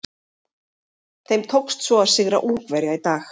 Þeim tókst svo að sigra Ungverja í dag.